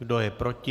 Kdo je proti?